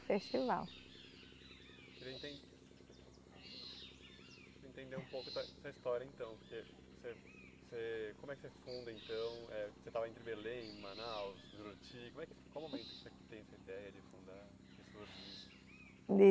Festival. Entender um pouco da da história então porque você você como é que você funda então é você estava entre Belém, Manaus, Juruti. Como é que como tem essa ideia de fundar